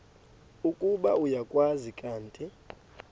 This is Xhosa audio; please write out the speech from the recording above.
ukuba uyakwazi kanti